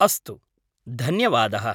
अस्तु, धन्यवादः।